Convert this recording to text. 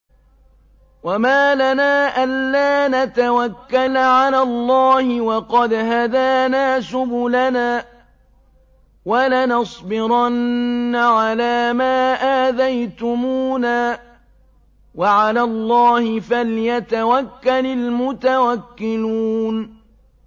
وَمَا لَنَا أَلَّا نَتَوَكَّلَ عَلَى اللَّهِ وَقَدْ هَدَانَا سُبُلَنَا ۚ وَلَنَصْبِرَنَّ عَلَىٰ مَا آذَيْتُمُونَا ۚ وَعَلَى اللَّهِ فَلْيَتَوَكَّلِ الْمُتَوَكِّلُونَ